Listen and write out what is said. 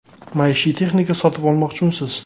Maishiy texnika sotib olmoqchimisiz?